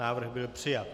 Návrh byl přijat.